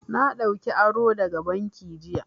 Na ɗauka aro daga banki jiya.